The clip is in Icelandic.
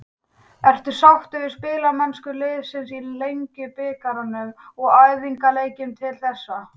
Ertu sáttur við spilamennsku liðsins í Lengjubikarnum og æfingaleikjum til þessa?